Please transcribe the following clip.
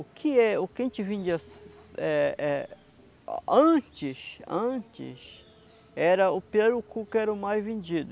O que é o que a gente vendia é é antes, antes, era o pirarucu que era o mais vendido.